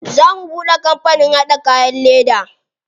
Za mu buɗe kampanin haɗa kayan leda.